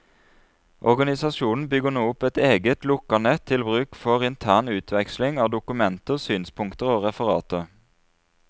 Organisasjonen bygger nå opp et eget, lukket nett til bruk for intern utveksling av dokumenter, synspunkter og referater.